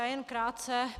Já jen krátce.